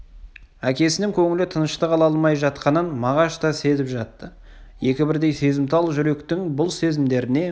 әкесінің көңілі тыныштық ала алмай жатқанын мағаш та сезіп жатты екі бірдей сезімтал жүректің бұл сезімдеріне